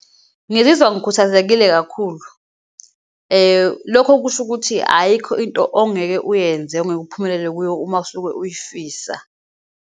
Ngizizwa ngikhuthazekile kakhulu. Lokho kusho ukuthi ayikho into ongeke uyenze, ongeke uphumelele kuyo uma usuke uyifisa.